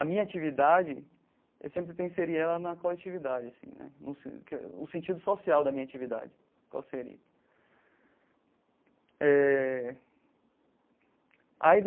A minha atividade, eu sempre tenho que inserir ela na coletividade assim né, no sentido social da minha atividade qual seria eh